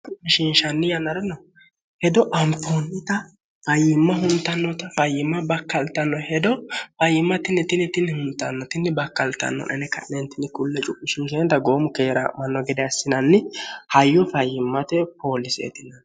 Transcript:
hmishinshanni yanara no hedo amfoonnita fayyimma huntannota fayyimma bakkaltanno hedo fayyimmatinnitinitinni huntannotinni bakkaltannonene ka'neentinni kulle cuisinenta goomu keera manno gede assinanni hayyu fayyimmote pooliseetin